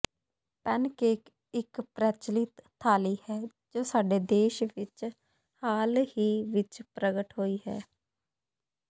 pancake ਇੱਕ ਪ੍ਰਚੱਲਿਤ ਥਾਲੀ ਹੈ ਜੋ ਸਾਡੇ ਦੇਸ਼ ਵਿੱਚ ਹਾਲ ਹੀ ਵਿੱਚ ਪ੍ਰਗਟ ਹੋਈ ਹੈ